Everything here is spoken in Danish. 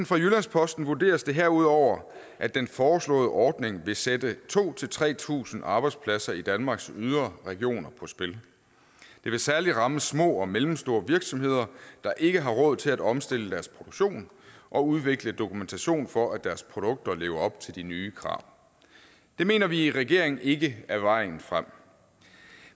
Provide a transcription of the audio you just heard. fra jyllands posten vurderes det herudover at den foreslåede ordning vil sætte to tre tusind arbejdspladser i danmarks yderregioner på spil det vil særlig ramme små og mellemstore virksomheder der ikke har råd til at omstille deres produktion og udvikle dokumentation for at deres produkter lever op til de nye krav det mener vi i regeringen ikke er vejen frem